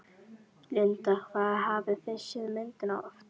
Linda: Hvað hafið þið séð myndina oft?